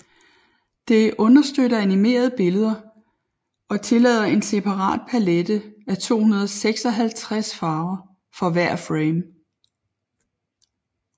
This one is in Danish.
Det understøtter animerede billeder og tillader en separat palette af 256 farver for hver frame